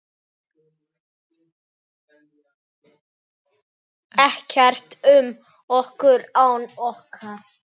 Ekkert um okkur án okkar!